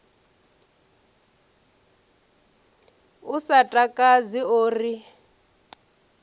u sa takadzi o ri